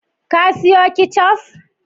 Ka siyo ketchup?